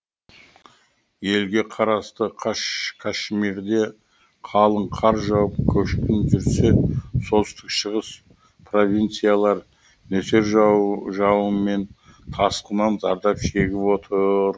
елге қарасты кашмирде қалың қар жауып көшкін жүрсе солтүстік шығыс провинциялар нөсер жауын мен тасқыннан зардап шегіп отыр